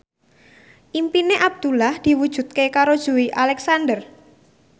impine Abdullah diwujudke karo Joey Alexander